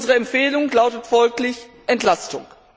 Unsere Empfehlung lautet folglich Entlastung.